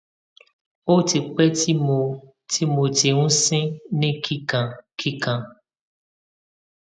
o ti pe ti mo ti mo ti n sin ni kikankikan